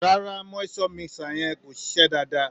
Rárá, moisture mixer yẹn ò ṣiṣẹ́ dáadáa.